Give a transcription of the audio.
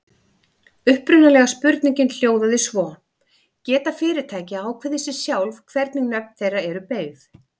Upprunalega spurningin hljóðaði svo: Geta fyrirtæki ákveðið sjálf hvernig nöfn þeirra eru beygð?